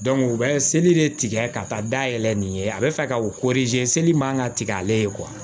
u bɛ seli de tigɛ ka taa dayɛlɛ nin ye a bɛ fɛ ka o se seli man ka tigɛ ale ye